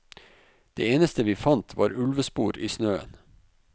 Det eneste vi fant var ulvespor i snøen.